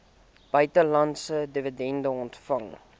buitelandse dividende ontvang